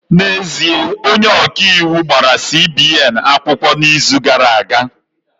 N'ezie, onye ọka iwu gbara CBN akwụkwọ n'izu gara aga